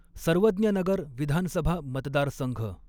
सर्वज्ञनगर विधानसभा मतदारसंघ